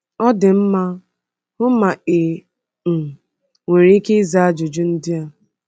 Ọ dị mma, hụ ma i um nwere ike ịza ajụjụ ndị a: